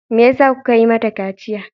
Me yasa kuka ƴiwa mata kaciya?